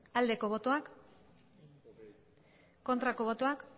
bozka dezakegu aldeko botoak aurkako botoak